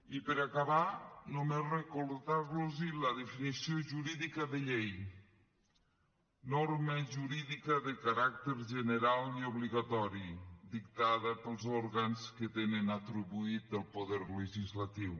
i per acabar només recordar los la definició jurídica de llei norma jurídica de caràcter general i obligatori dictada pels òrgans que tenen atribuït el poder legislatiu